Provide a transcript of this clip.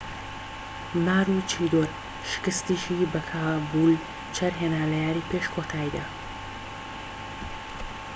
ماروچیدۆر شکستیشی بە کابولچەر هێنا لە یاریی پێش کۆتاییدا